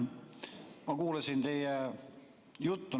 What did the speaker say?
Ma kuulasin teie juttu.